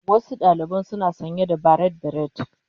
Wasu ɗalibai suna sanye da barrate beret.